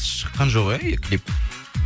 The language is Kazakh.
шыққан жоқ иә клип